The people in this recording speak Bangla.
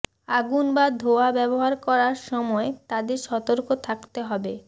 আগুন বা ধোঁয়া ব্যবহার করার সময় তাদের সতর্ক থাকতে হবে